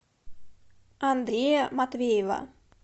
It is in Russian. андрея матвеева